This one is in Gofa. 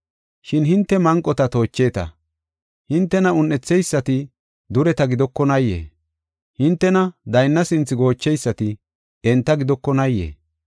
Shin hinte manqota toocheta. Hintena un7etheysati dureta gidokonaayee? Hintena daynna sinthe goocheysati enta gidokonaayee?